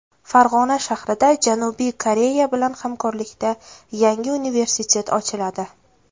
Farg‘ona shahrida Janubiy Koreya bilan hamkorlikda yangi universitet ochiladi.